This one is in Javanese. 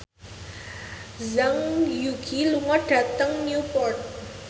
Zhang Yuqi lunga dhateng Newport